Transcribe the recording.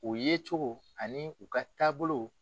U ye cogo ani u ka taabolo.